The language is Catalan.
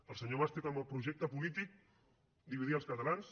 el senyor mas té com a projecte polític dividir els catalans